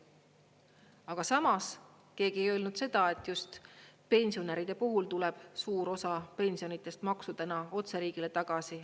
Aga samas keegi ei öelnud seda, et just pensionäride puhul tuleb suur osa pensionidest maksudena otse riigile tagasi.